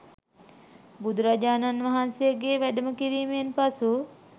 බුදුරජාණන් වහන්සේගේ වැඩම කිරීමෙන් පසු